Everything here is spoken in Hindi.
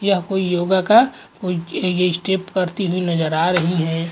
यहाँ कोई योग का कोई ये ये स्टेप करती हुई नज़र आ रही है।